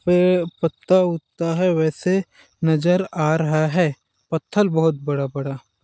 ए पत्ता -उता है वैसे नज़र आ रहा है पत्थल बहोत बड़ा -बड़ा--